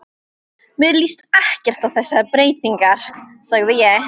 Mér líst ekkert á þessar breytingar sagði ég.